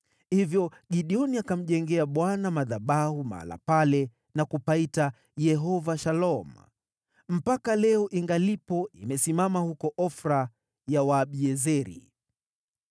Hivyo Gideoni akamjengea Bwana madhabahu mahali pale na kupaita, Yehova-Shalom. Mpaka leo ingalipo imesimama huko Ofra ya Waabiezeri.